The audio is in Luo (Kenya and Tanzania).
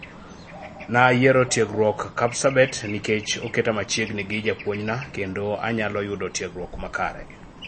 Nayiero tiegruok Kapsabet nikech oketa machiegni gi japuonjna kendo anyalo yudo tiegruok makare